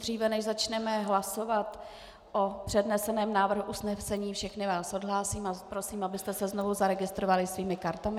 Dříve než začneme hlasovat o předneseném návrhu usnesení, všechny vás odhlásím a prosím, abyste se znovu zaregistrovali svými kartami.